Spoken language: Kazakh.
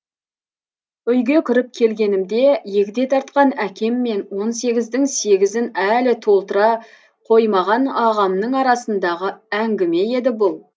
үйге кіріп келгенімде егде тартқан әкем мен он сегіздің сегізін әлі толтыра қоймаған ағамның арасындағы әңгіме еді бұл